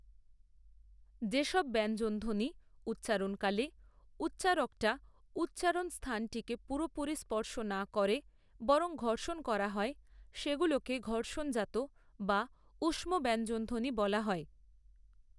যেসব ব্যঞ্জনধ্বনি উচ্চারণকালে উচ্চারকটা উচ্চারণস্থানটিকে পুরাপুরি স্পর্শ না করে বরং ঘর্ষণ করা হয় সেগুলোকে ঘর্ষণজাত বা ঊষ্ম ব্যঞ্জনধ্বনি বলা হয়।